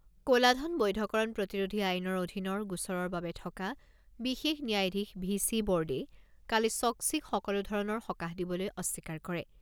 ক'লাধন বৈধকৰণ প্ৰতিৰোধী আইনৰ অধীনৰ গোচৰৰ বাবে থকা বিশেষ ন্যায়াধীশ ভি চি বৰ্দেই কালি চ'ক্সিক সকলো ধৰণৰ সকাহ দিবলৈ অস্বীকাৰ কৰে।